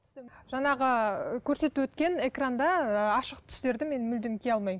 жаңағы көрсетіп өткен экранда ы ашық түстерді мен мүлдем кие алмаймын